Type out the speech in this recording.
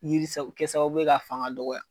Binkisɛ bɛ kɛ sababu ye ka fanga dɔgɔya.